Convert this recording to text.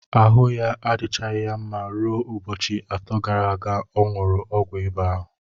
Ahụ ya adịchaghị mma ruo ụbọchị atọ gara aga ọ ṅụrụ ọgwụ ịba ahụ.